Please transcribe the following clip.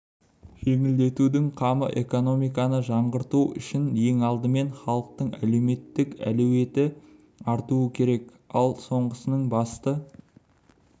жеңілдетудің қамы экономиканы жаңғырту үшін ең алдымен халықтың әлеуметтік әлеуеті артуы керек ал соңғысының басты